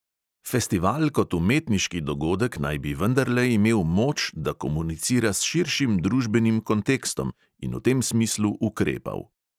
Festival kot umetniški dogodek naj bi vendarle imel moč, da komunicira s širšim družbenim kontekstom, in v tem smislu ukrepal.